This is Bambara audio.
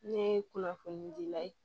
Ne ye kunnafoni dila ye